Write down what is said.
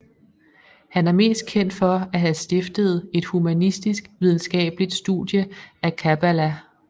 Han er mest kendt for at have stiftet et humanistisk videnskabeligt studie af kabbala